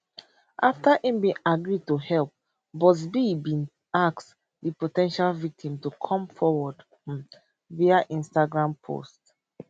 afta im agree to help buzbee bin ask di po ten tial victims to come forward um via instagram post